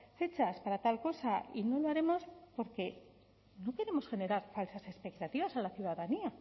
fechas para tal cosa y no lo haremos porque no queremos generar falsas expectativas a la ciudadanía